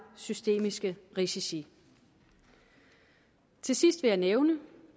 systemiske risici til sidst vil jeg nævne